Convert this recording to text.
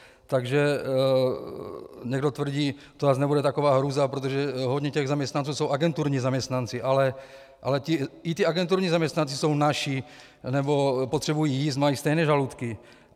Takže někdo tvrdí, to zase nebude taková hrůza, protože hodně těch zaměstnanců jsou agenturní zaměstnanci, ale i ti agenturní zaměstnanci jsou naši nebo potřebují jíst, mají stejné žaludky.